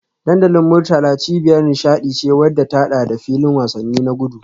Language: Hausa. Dandalin Murtala cibiyar nishadi ce wadda ta hada da filin wasanni na gudu